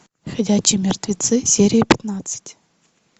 ходячие мертвецы серия пятнадцать